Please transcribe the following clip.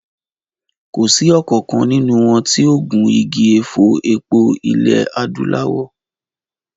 Kò sí ọ̀kankan nínú wọn tí ó gun igi ẹ̀fọ́ epo ilẹ̀ Adúláwọ̀